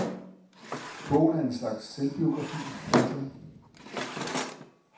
Bogen er en slags selvbiografi. punktum